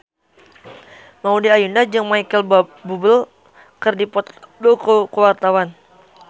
Maudy Ayunda jeung Micheal Bubble keur dipoto ku wartawan